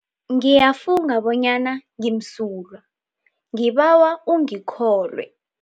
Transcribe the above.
Ngiyafunga bonyana ngimsulwa, ngibawa ungikholwe.